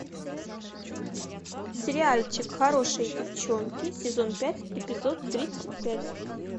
сериальчик хорошие девчонки сезон пять эпизод тридцать пять